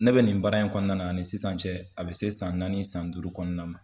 Ne bɛ nin baara in kɔnɔna na ani sisan cɛ a bɛ se san naani san duuru kɔnɔna na ma.